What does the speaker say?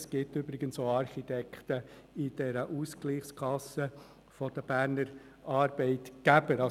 Es gibt übrigens auch Architekten in der Ausgleichskasse der Berner Arbeitgeber.